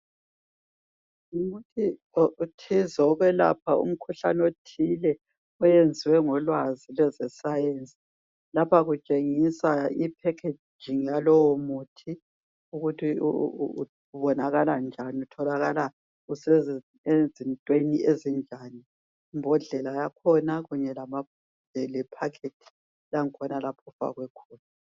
Ngumuthi othize okwelapha umkhuhlane othile oyenziwe ngolwazi lwezesayensi lapha kutshengisa i packaging yalowo muthi ukuthi ubonakala njani utholakala usezintweni ezinjani imbodlela yakhona kunye lephakhejingi yakhona lapho ofakwe khona